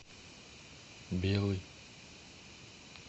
белый